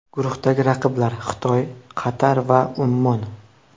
Guruhdagi raqiblar: Xitoy, Qatar va Ummon.